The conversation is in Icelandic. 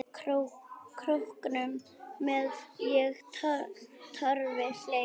Króknum með ég torfi hleð.